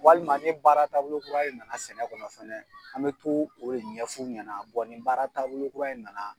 Walima ni baara taabolo kura de nana sɛnɛ kɔnɔ fɛnɛ, an bɛ t'o o de ɲɛf'u ɲɛna nin baara taabolo kura in nana